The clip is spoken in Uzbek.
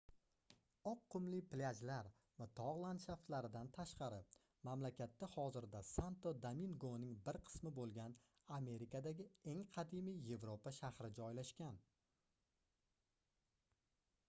oq qumli plyajlar va togʻ landshaftlaridan tashqari mamlakatda hozirda santo domingoning bir qismi boʻlgan amerikadagi eng qadimiy yevropa shahri joylashgan